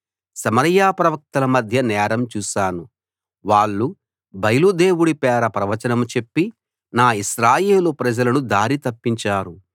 సమరయ ప్రవక్తల మధ్య నేరం చూశాను వాళ్ళు బయలు దేవుడి పేర ప్రవచనం చెప్పి నా ఇశ్రాయేలు ప్రజలను దారి తప్పించారు